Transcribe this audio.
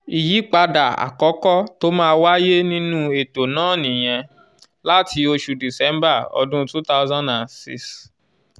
ìyípadà àkọ́kọ́ tó máa wáyé nínú ètò náà nìyẹn láti oṣù december ọdún two thousand and six.